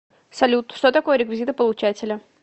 салют что такое реквизиты получателя